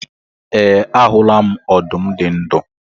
E, ahula m ọdụm dị ndụ.